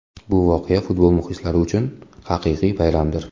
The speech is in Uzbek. Bu voqea futbol muxlislari uchun haqiqiy bayramdir.